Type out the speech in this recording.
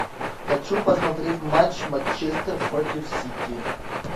хочу посмотреть матч манчестер против сити